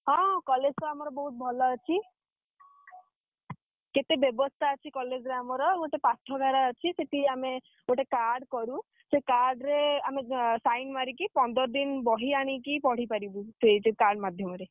ହଁ college ତ ଆମର ବହୁତ୍ ଭଲ ଅଛି। କେତେ ବ୍ୟବସ୍ଥା ଅଛି college ରେ ଆମର ଗୋଟିଏ ପାଠାଗାର ଅଛି ସେଠି ଆମେ ଗୋଟେ ଆମେ card କରୁ। ସେ card ରେ ଆମେ sign ମାରିକି ପନ୍ଦର ଦିନି ବହି ଆଣିକି ପଢିପାରିବୁ। ସେ ଯୋଉ card ମାଧ୍ୟମରେ।